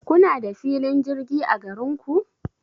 Kuna da filin jirgi a garinku?